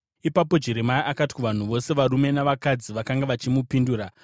Ipapo Jeremia akati kuvanhu vose, varume navakadzi, vakanga vachimupindura,